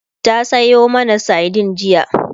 ta Sayo mana sardine jiya